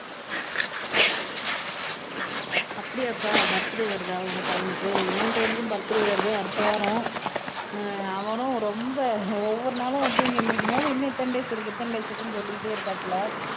அப்படியாப்பா பர்த்டே வருதா உங்க பையனுக்கு என் பையனுக்கும் பர்த்டே வருது அடுத்த வாரம் அஹ் அவனும் ரொம்ப ஒவ்வொரு நாளும் தூங்கி எந்திரிக்கும் போது இன்னும் இத்தன டேஸ் இருக்கு இத்தன டேஸ் இருக்குன்னு சொல்லிட்டே இருக்காப்ல